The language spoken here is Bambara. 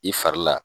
I fari la